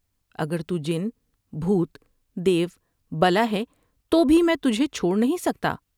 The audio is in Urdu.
اگر تو جن ، بھوت ، دیو بلا ہے تو بھی میں تجھے چھوڑ نہیں سکتا ۔